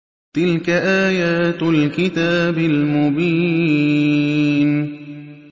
تِلْكَ آيَاتُ الْكِتَابِ الْمُبِينِ